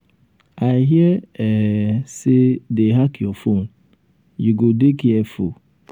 i hear um say dey hack your phone. you go dey careful. um